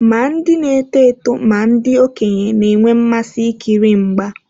Ma ndị na-eto eto ma ndị okenye na-enwe mmasị ikiri mgba.